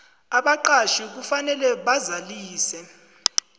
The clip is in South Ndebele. abaqatjhi kufanele bazalise